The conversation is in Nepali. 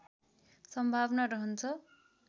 सम्भावना रहन्छ